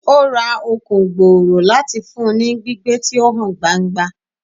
O ra Okun gbooro lati fun u ni gbigbe ti o han gbangba